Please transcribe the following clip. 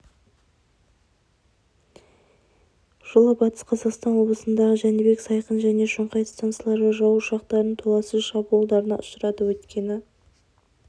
жылы батыс қазақстан облысындағы жәнібек сайқын және шоңғай стансалары жау ұшақтарының толассыз шабуылдарына ұшырады өйткені